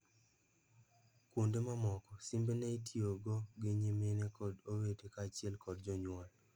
Kuonde mamoko, simbe neitio go gi nyimine kod owete kaachiel kod jonyuol.